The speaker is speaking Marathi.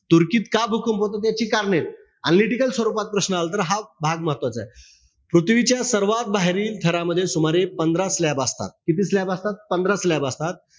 तुर्कीत का भूकंप होतात याची कारणय. Analytical स्वरूपात प्रश्न आला तर हा भाग महत्वाचायं. पृथ्वीच्या सर्वात बाहेरील थरामध्ये सुमारे पंधरा slab असतात. किती slab असतात? पंधरा slab असतात.